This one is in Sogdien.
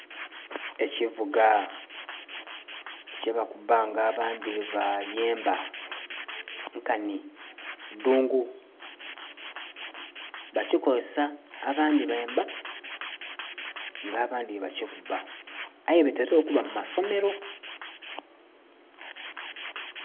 Ekivuuga kyebakubba nga abandhi bye bayemba nkanhi adhungu, bakikozesa abandhi bemba nga abandhi bye ba kikubba aye bitera okuba mu masomero.